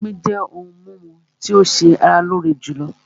Omí jẹ́ òhún mímú tí o ṣé ara lóore jùlọ.